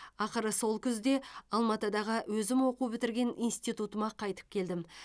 ақыры сол күзде алматыдағы өзім оқу бітірген институтыма қайтып келдім